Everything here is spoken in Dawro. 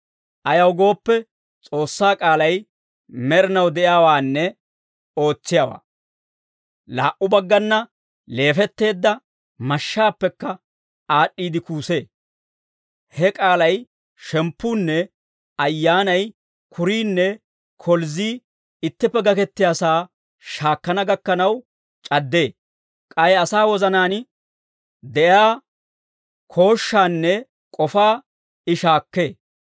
Ayaw gooppe, S'oossaa k'aalay med'inaw de'iyaawaannee ootsiyaawaa; laa"u baggana leefetteedda mashshaappekka aad'd'iide kuusee. He k'aalay shemppuunne ayyaanay, kuriinne kolzzii ittippe gakettiyaasaa shaakkana gakkanaw c'addee. K'ay asaa wozanaan de'iyaa koshaanne k'ofaa I shaakkee.